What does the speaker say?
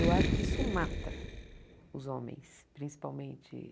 Eu acho que isso mata os homens, principalmente.